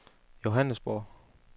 Johannesborg